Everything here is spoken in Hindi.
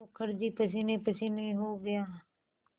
मुखर्जी पसीनेपसीने हो गया